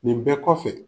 Nin bɛɛ kɔfɛ